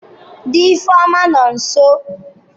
Di Ifeoma no nso.